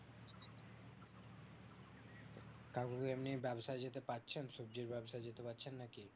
কাকু এমনি ব্যবসা যেতে পারছেন সবজির ব্যবসা যেতে পারছেন না কি